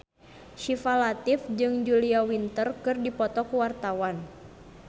Syifa Latief jeung Julia Winter keur dipoto ku wartawan